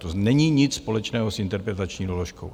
To není nic společného s interpretační doložkou.